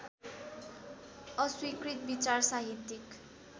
अस्वीकृत विचार साहित्यिक